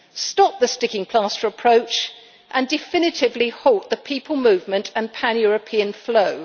stop the sticking plaster approach and definitively halt the people movement and pan-European flow?